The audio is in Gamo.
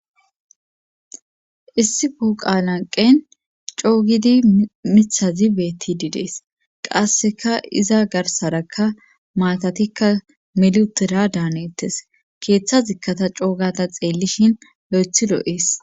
Issi pooqan anqen coogidi mithazi beetti didees qasseka iza garsarakka maatatikka milutera daanettes keeththa zikkata coogata xeellishin lo'i lo.ees.